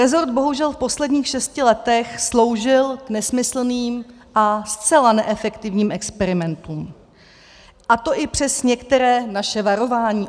Resort bohužel v posledních šesti letech sloužil k nesmyslným a zcela neefektivním experimentům, a to i přes některá naše varování.